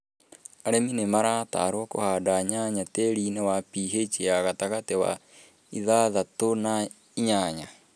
Arĩmi nĩmaratarwo kũhanda nyanya tĩĩri-inĩ wĩna PH ya gatagati wa ithathatũ na inyanya